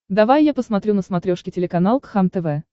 давай я посмотрю на смотрешке телеканал кхлм тв